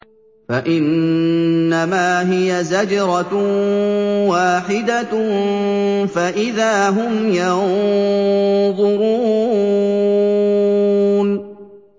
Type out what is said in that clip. فَإِنَّمَا هِيَ زَجْرَةٌ وَاحِدَةٌ فَإِذَا هُمْ يَنظُرُونَ